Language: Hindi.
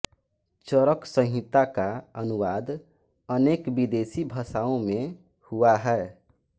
चरक संहिता का अनुवाद अनेक विदेशी भाषाओं में हुआ है